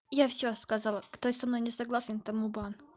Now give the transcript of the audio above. я все сказала кто со мной не согласен тому бан